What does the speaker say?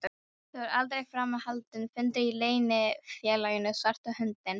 Það var aldrei framar haldinn fundur í Leynifélaginu svarta höndin.